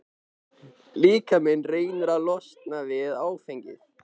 Líkaminn reynir að losna við áfengið.